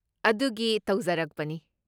ꯑꯗꯨꯒꯤ ꯇꯧꯖꯔꯛꯄꯅꯤ꯫